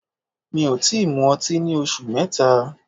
Mi ò tí mu ọtí ní oṣù mẹ́ta.